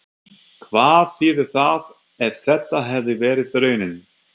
Hvað þýðir það ef þetta hefði verið raunin?